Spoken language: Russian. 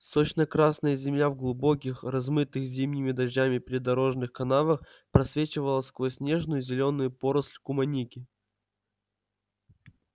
сочно-красная земля в глубоких размытых зимними дождями придорожных канавах просвечивала сквозь нежную зелёную поросль куманики